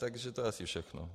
To je asi všechno.